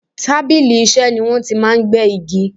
Tábìlì Iṣẹ́ ni wọ́n ti máa ń gé igi